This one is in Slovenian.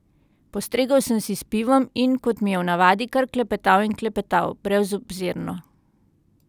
Postregel sem si s pivom in, kot mi je v navadi, kar klepetal in klepetal, brezobzirno.